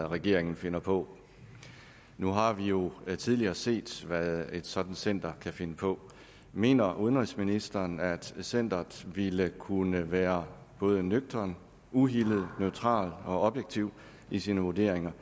regeringen finder på nu har vi jo tidligere set hvad et sådant center kan finde på mener udenrigsministeren at centeret ville kunne være både nøgternt uhildet neutralt og objektivt i sine vurderinger